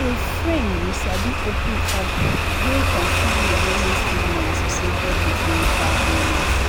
a fren you sabi opened up wey concern reducing stigma associated wit mental illness